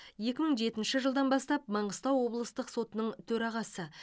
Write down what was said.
екі мың жетінші жылдан бастап маңғыстау облыстық сотының төрағасы